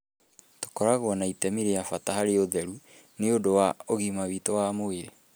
Tũkoragwo na itemi rĩa bata harĩ ũtheru nĩ ũndũ wa ũgima witũ wa mwĩrĩ, .